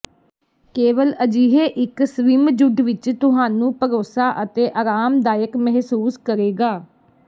ਕੇਵਲ ਅਜਿਹੇ ਇੱਕ ਸਵਿਮਜੁੱਡ ਵਿੱਚ ਤੁਹਾਨੂੰ ਭਰੋਸਾ ਅਤੇ ਆਰਾਮਦਾਇਕ ਮਹਿਸੂਸ ਕਰੇਗਾ